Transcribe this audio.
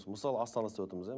мысалы астанада істеватырмыз